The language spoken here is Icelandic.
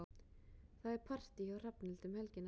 Það er partí hjá Hrafnhildi um helgina.